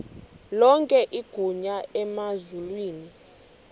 lonke igunya emazulwini